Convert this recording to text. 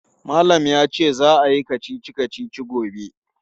Malam ya ce za a yi kacici-kacici gobe.